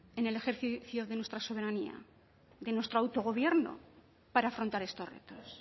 en el ejercicio de nuestra soberanía de nuestro autogobierno para afrontar estos retos